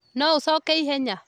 No ũcoke ihenya?